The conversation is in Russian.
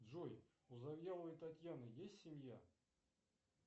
джой у завьяловой татьяны есть семья